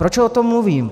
Proč o tom mluvím?